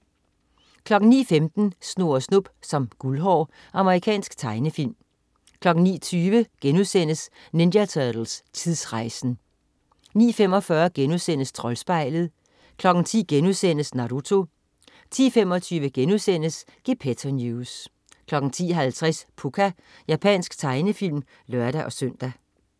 09.15 Snurre Snup som Guldhår. Amerikansk tegnefilm 09.20 Ninja Turtles: Tidsrejsen!* 09.45 Troldspejlet* 10.00 Naruto* 10.25 Gepetto News* 10.50 Pucca. Japansk tegnefilm (lør-søn)